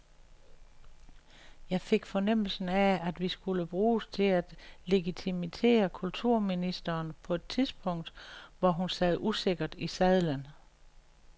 Jeg fik fornemmelsen af, at vi skulle bruges til at legitimere kulturministeren på et tidspunkt, hvor hun sad usikkert i sadlen.